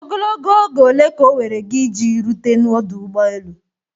Ogologo oge ole ka oweere gị iji rute n'ọdụ ụgbọ elu?